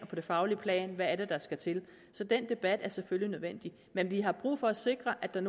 og det faglige plan hvad der skal til så den debat er selvfølgelig nødvendig men vi har brug for at sikre at der